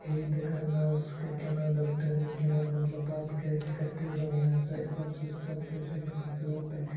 हे देखा नर्स के केना डोक्टरनी केना मतलब बात करय छै कते बढ़िया से सबसे सब पैसेंट खुश रहते| --